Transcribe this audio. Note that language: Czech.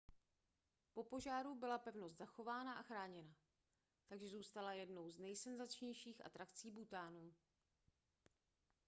po požáru byla pevnost zachována a chráněna takže zůstala jednou z nejsenzačnějších atrakcí bhútánu